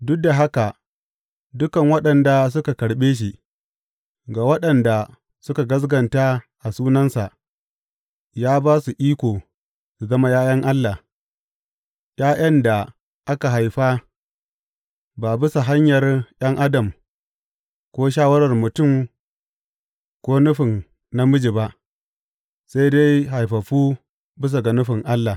Duk da haka dukan waɗanda suka karɓe shi, ga waɗanda suka gaskata a sunansa, ya ba su iko su zama ’ya’yan Allah ’ya’yan da aka haifa ba bisa hanyar ’yan adam, ko shawarar mutum ko nufin namiji ba, sai dai haifaffu bisa ga nufin Allah.